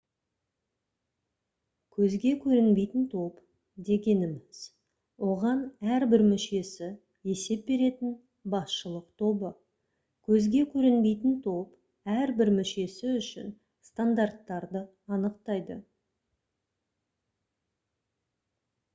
«көзге көрінбейтін топ» дегеніміз оған әрбір мүшесі есеп беретін басшылық тобы. көзге көрінбейтінтоп әрбір мүшесі үшін стандарттарды анықтайды